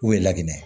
U ye lakinɛ